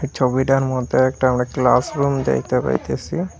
ছবিটার মধ্যে একটা আমরা ক্লাসরুম দেখতে পাইতাসি।